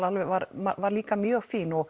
var líka mjög fín og